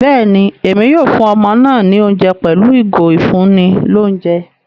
Béèni, Èmí yóò fún ọmọ náà ní oúnjẹ pẹlu ìgò ifunni l'ounjẹ